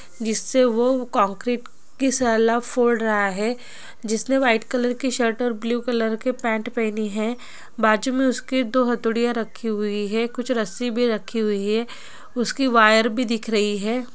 जिससे वो कंक्रीट की फोड़ रहा है जिसने व्हाइट कलर की शर्ट और ब्लू कलर की पैंट पहनी है बाजू में उसकी दो हथोड़ीयां रखी हुई है कुछ रस्सी भी रखी हुई है उसकी वायर भी दिख रही है।